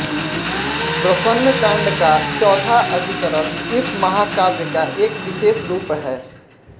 प्रसन्न कांड का चौथा अधिकरण इस महाकाव्य का एक विशेष रूप है